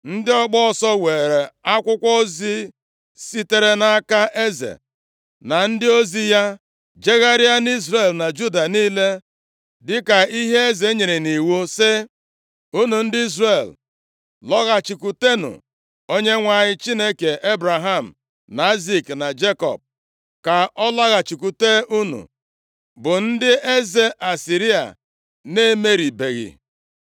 Ndị ọgba ọsọ weere akwụkwọ ozi sitere nʼaka eze na ndị ozi ya jegharịa nʼIzrel na Juda niile dịka ihe eze nyere nʼiwu si: “Unu ndị Izrel, lọghachikwutenụ Onyenwe anyị Chineke Ebraham, na Aịzik, na Jekọb, ka ọ laghachikwute unu bụ ndị eze Asịrịa na-emeribeghị.